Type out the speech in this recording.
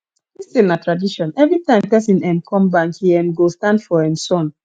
this thing na tradition everytime person um come bank he um go stand for um sun